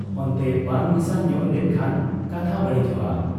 ᱚᱱᱛᱮ ᱵᱟᱝ ᱢᱮᱥᱟ ᱧᱚᱜ ᱞᱮᱱ ᱠᱷᱟᱱ ᱠᱟᱛᱷᱟ ᱵᱟᱹᱲᱤᱡᱚᱜ ᱟ ᱾